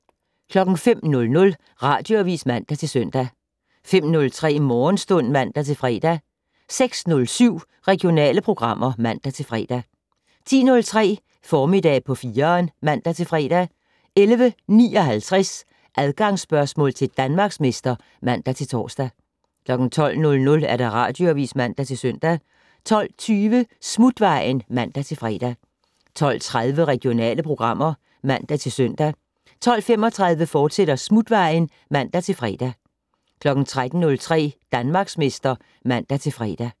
05:00: Radioavis (man-søn) 05:03: Morgenstund (man-fre) 06:07: Regionale programmer (man-fre) 10:03: Formiddag på 4'eren (man-fre) 11:59: Adgangsspørgsmål til Danmarksmester (man-tor) 12:00: Radioavis (man-søn) 12:20: Smutvejen (man-fre) 12:30: Regionale programmer (man-søn) 12:35: Smutvejen, fortsat (man-fre) 13:03: Danmarksmester (man-fre)